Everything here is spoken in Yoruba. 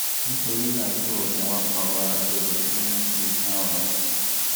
nítorí náà lo oògùn apàrora àti oògùn tó ń mú kí iṣan rọ